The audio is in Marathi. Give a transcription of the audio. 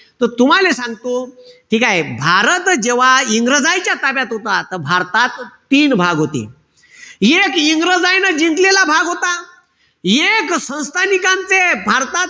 त तुम्हाले सांगतो, ठीकेय? भारत जेव्हा इंग्रजायच्या ताब्यात होता. त भारतात तीन भाग होते. एक इंग्रजायन जिंकलेला भाग होता. एक संस्थानिकांचे भारतात,